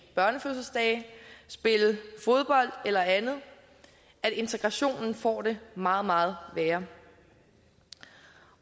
børnefødselsdage spille fodbold eller andet så integrationen får det meget meget værre